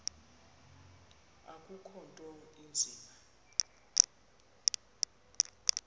akukho nto inzima